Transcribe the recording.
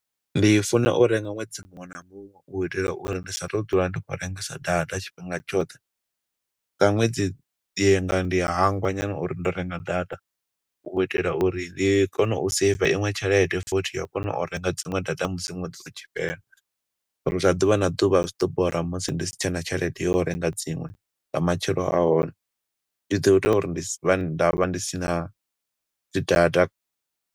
Ndi funa u renga ṅwedzi muṅwe na muṅwe, u itela uri ndi sa tu dzula ndi khou rengesa data tshifhinga tshoṱhe. Nga ṅwedzi, ndi nga ndi a hangwa nyana uri ndo renga data, u itela uri ri kone u seiva iṅwe tshelede futhi yo kona u renga dziṅwe data musi ṅwedzi utshi fhela. Ngo uri zwa ḓuvha na ḓuvha zwi ḓo bora musi ndi si tshena tshelede yo renga dziṅwe nga matshelo a hone, zwi ḓo ita uri ndi si vhe, nda vha ndi si na dzi data.